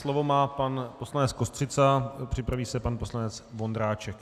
Slovo má pan poslanec Kostřica, připraví se pan poslanec Vondráček.